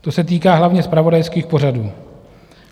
To se týká hlavně zpravodajských pořadů.